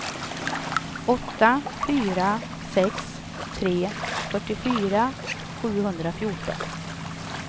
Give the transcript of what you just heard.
åtta fyra sex tre fyrtiofyra sjuhundrafjorton